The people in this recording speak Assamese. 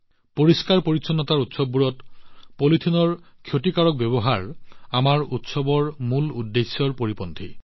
পৰিষ্কাৰপৰিচ্ছন্নতাৰ উৎসৱবোৰত পলিথিনৰ ক্ষতিকাৰক অপচয় আমাৰ উৎসৱৰ আত্মাৰ বিপৰীত কথা